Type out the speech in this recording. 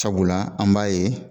Sabula an b'a ye